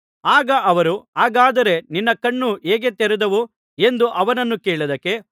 ಆಗ ಅವರು ಹಾಗಾದರೆ ನಿನ್ನ ಕಣ್ಣು ಹೇಗೆ ತೆರೆದವು ಎಂದು ಅವನನ್ನು ಕೇಳಿದ್ದಕ್ಕೆ